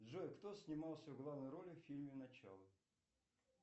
джой кто снимался в главной роли в фильме начало